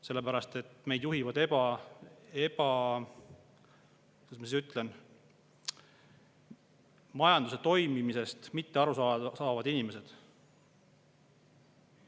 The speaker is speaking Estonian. Sellepärast et meid juhivad, kuidas ma ütlen, majanduse toimimisest mitte aru saavad inimesed.